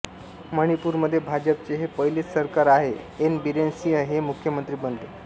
मणिपूरमध्ये भाजपचे हे पहिलेच सरकार आहे एन बीरेन सिंह हे मुख्यमंत्री बनले